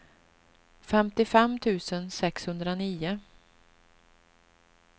femtiofem tusen sexhundranio